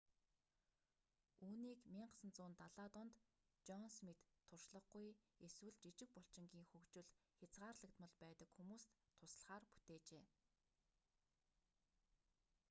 үүнийг 1970-аад онд жон смит туршлагагүй эсвэл жижиг булчингийн хөгжил хязгаарлагдмал байдаг хүмүүст туслахаар бүтээжээ